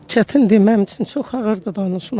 Çətindir, mənim üçün çox ağırdır danışmaq.